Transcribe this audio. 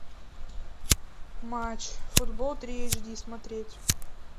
матч футбол три эйч ди смотреть